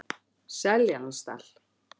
Seljalandsdal